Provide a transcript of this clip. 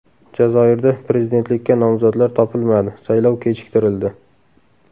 Jazoirda prezidentlikka nomzodlar topilmadi, saylov kechiktirildi.